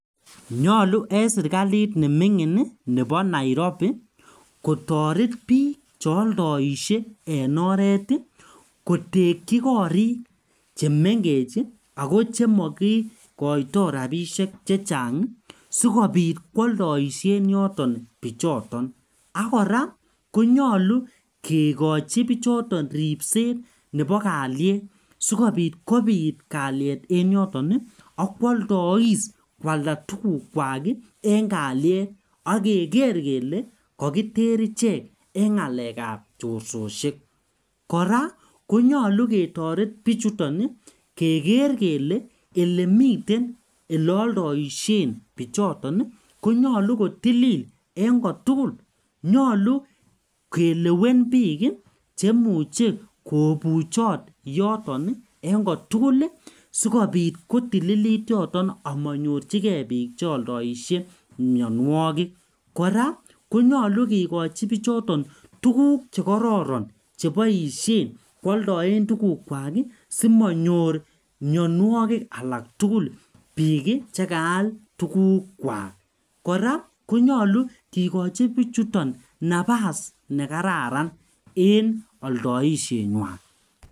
Nyolu eng' serikalit neming'in nebo Nairobi kotoret biik cheoldoishei eng' oret kotekchi korik chemengech ako chemakikoitoi rapishek chechang' sikobit kwoldoishen yoton bichoton akora konyolu kekochi bichoton ripset nebo kalyet sikobit kobiit kalyet eng' yoton akwoldois kwalda tukukwak eng' kalyet akeker kele kakiter ichenk eng' ng'alekab chorsosiek kora konyolu ketoret biichuton keker kele olemiten oleoldoishen bichoton konyolu kotilil eng' kotugul nyolu kelewen biik chemuchei kobuchot yoton eng' kotugul sikobit kotililit yoton amanyorchigei biik cheoldoishei mionwokik kora konyolu kekochin bichoton tukuk chekororon cheboishen kwoldoen tukukwak simanyor mionwokik alak tugul biik chekaal tukukwak kora konyolu kikochi bichoto napas nekararan eng' oldoisheng'wai.